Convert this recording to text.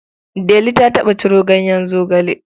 Delu ta taɓa ciro ganyen zogale.